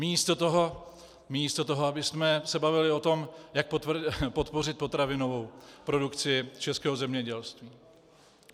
Místo toho, abychom se bavili o tom, jak podpořit potravinovou produkci českého zemědělství.